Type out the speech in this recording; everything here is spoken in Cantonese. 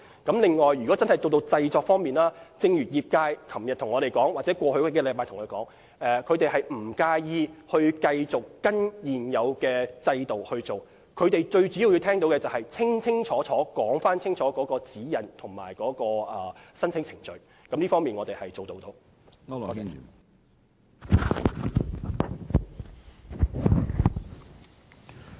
在製作方面，正如業界在昨天和過往數星期向我們反映，他們不介意繼續依循現有制度，他們主要想清楚知道指引和申請程序。就此，我們是做到的。